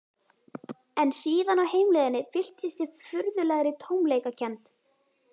En síðan á heimleiðinni fylltist ég furðulegri tómleikakennd.